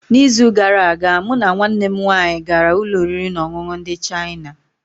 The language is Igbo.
N’izu gara aga mụ na nwanne m nwanyị gara ụlọ oriri na ọṅụṅụ ndị Chịana.